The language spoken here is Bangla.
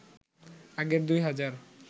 আগের ২ হাজার